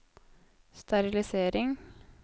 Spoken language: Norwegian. sterilisering